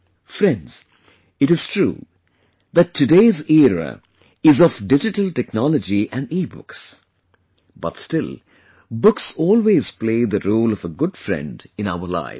Friends, it is true that today's era is of Digital Technology and EBooks, but still books always play the role of a good friend in our lives